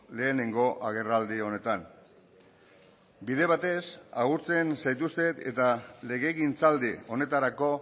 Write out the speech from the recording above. lehenengo agerraldi honetan bide batez agurtzen zaituztet eta legegintzaldi honetarako